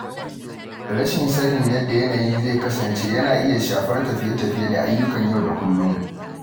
Rashin sanin yadda yanayi zai kasance yana iya shafar tafiye-tafiye da ayyukan yau da kullum.